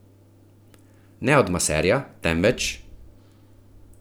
Ne od maserja, temveč ...